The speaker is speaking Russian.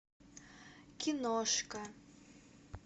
киношка